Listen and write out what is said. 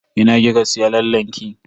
A ina kika yi lallen ki?